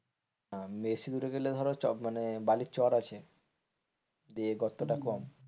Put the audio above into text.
বেশি দূরে গেলে ধর চব মানে বালির চর আছে দিয়ে গর্তটা কম,